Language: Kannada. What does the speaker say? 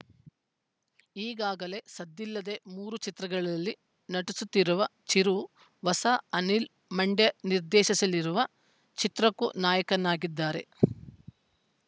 ಈಗಾಗಲೇ ಸದ್ದಿಲ್ಲದೆ ಮೂರು ಚಿತ್ರಗಳಲ್ಲಿ ನಟಿಸುತ್ತಿರುವ ಚಿರು ಹೊಸ ಅನಿಲ್‌ ಮಂಡ್ಯ ನಿರ್ದೇಶಿಸಲಿರುವ ಚಿತ್ರಕ್ಕೂ ನಾಯಕನಾಗಿದ್ದಾರೆ